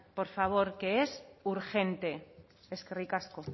por favor que es urgente eskerrik asko